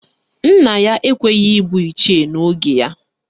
Nna ya ekweghi ịbụ Ichie n'oge ya.